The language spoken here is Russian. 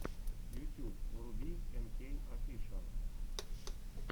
ютьюб вруби энкей офишиал